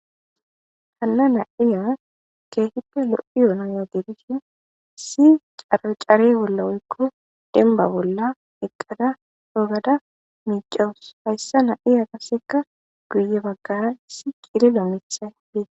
Hana nayiya kehippe loyiya nayiw gidishin issi chare bola woykko denba bolla eqada cogada micawus hayssan hayi asika guye bagara cililo mithay bettes.